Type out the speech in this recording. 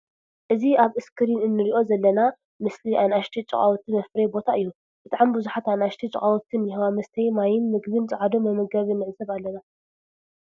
እዚ ኣብ እስክሪን እንሪኦ ዘለና ምስሊ ኣናእሽተይ ጫቃዊት መፋረዪ ቦታ እዩ። ብጣዕሚ ብዙሓት ኣናእሽተይች ጫቃዊት እኒሀዋ መስተይ ማየን ምግበንን ጸዓዱ መመገቢ ንዕዘብ ኣለና።